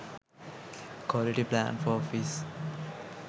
quality plan for office